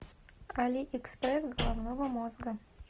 алиэкспресс головного мозга